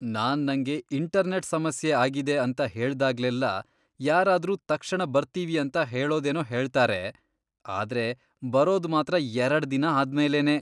ನಾನ್ ನಂಗೆ ಇಂಟರ್ನೆಟ್ ಸಮಸ್ಯೆ ಆಗಿದೆ ಅಂತ ಹೇಳ್ದಾಗ್ಲೆಲ್ಲ ಯಾರಾದ್ರೂ ತಕ್ಷಣ ಬರ್ತೀವಿ ಅಂತ ಹೇಳೋದೇನೋ ಹೇಳ್ತಾರೆ, ಆದ್ರೆ ಬರೋದ್ ಮಾತ್ರ ಎರಡ್ ದಿನ ಆದ್ಮೇಲೇನೇ.